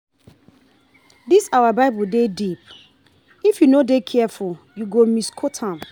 Dis our bible dey deep if you no dey careful you go misquote am.